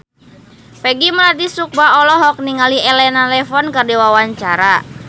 Peggy Melati Sukma olohok ningali Elena Levon keur diwawancara